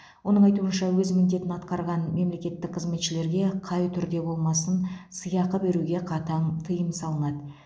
оның айтуынша өз міндетін атқарған мемлекеттік қызметшілерге қай түрде болмасын сыйақы беруге қатаң тыйым салынады